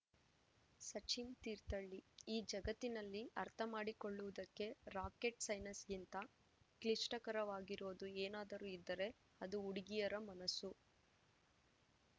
ಸಚಿನ್‌ ತೀರ್ಥಹಳ್ಳಿ ಈ ಜಗತ್ತಿನಲ್ಲಿ ಅರ್ಥ ಮಾಡಿಕೊಳ್ಳುವುದಕ್ಕೆ ರಾಕೆಟ್‌ ಸೈನ್ಸ್‌ಗಿಂತ ಕ್ಲಿಷ್ಟಕರವಾಗಿರೋದು ಏನಾದರೂ ಇದ್ದರೆ ಅದು ಹುಡುಗಿಯರ ಮನಸ್ಸು